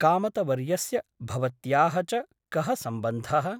कामतवर्यस्य भवत्याः च कः सम्बन्धः ?